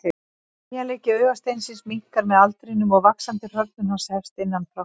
Teygjanleiki augasteinsins minnkar með aldrinum og vaxandi hrörnun hans hefst innan frá.